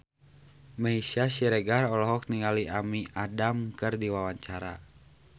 Meisya Siregar olohok ningali Amy Adams keur diwawancara